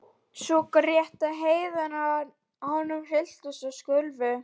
Og grét svo að herðarnar á honum hristust og skulfu.